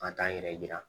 Ka taa n yɛrɛ yira